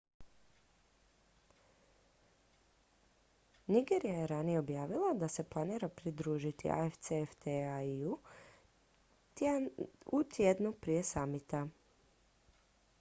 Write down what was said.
nigerija je ranije objavila da se planira pridružiti afcfta-i u tjednu prije samita